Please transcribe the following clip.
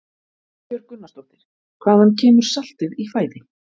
Ingibjörg Gunnarsdóttir: Hvaðan kemur saltið í fæði?